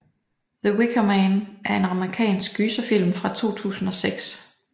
The Wicker Man er en amerikansk gyserfilm fra 2006